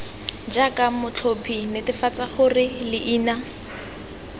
jaaka motlhophi netefatsa gore leina